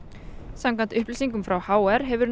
samkvæmt upplýsingum frá h r hefur